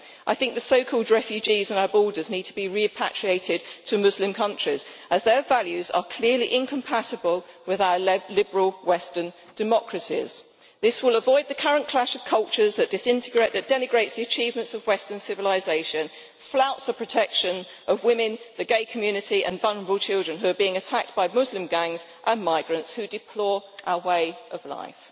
I think the so called refugees on our borders need to be repatriated to Muslim countries, as their values are clearly incompatible with our liberal western democracies. This will avoid the current clash of cultures that denigrates the achievements of Western civilisation and flouts the protection of women, the gay community and vulnerable children, who are being attacked by Muslim gangs and migrants who deplore our way of life.